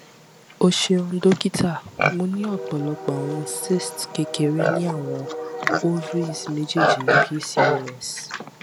o ṣeun dokita mo ni ọpọlọpọ awọn cyste kekere ni awọn ovaries mejeeji pcos